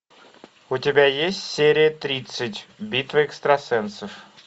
у тебя есть серия тридцать битва экстрасенсов